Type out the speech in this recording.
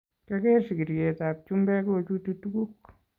Kyageer sigiryetab chumbek kochuti tuguk